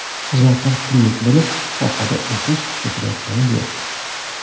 Xizmatlar pullik bo‘lib, sohada o‘sish kuzatilayotgani yo‘q.